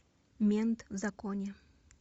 мент в законе